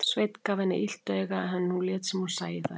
Sveinn gaf henni illt auga en hún lét sem hún sæi það ekki.